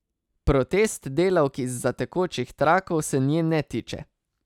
Protest delavk izza tekočih trakov se nje ne tiče.